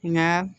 Nka